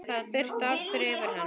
Það birti aftur yfir henni.